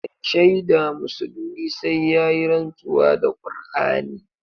Mai shaida musulmi sai yayi rantsuwa da Kur'ani.